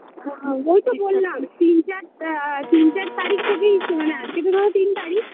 আআ ওই তো বললাম তিন চার আ তিন চার তারিখ থেকেই শু মানে আজকে তো ধরো তিন তারিখ